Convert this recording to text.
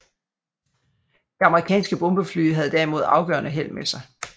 De amerikanske bombefly havde derimod afgørende held med sig